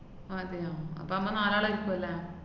അതെയാ, അപ്പ മ്മ നാലാളായിരിക്കൂവല്ലേ?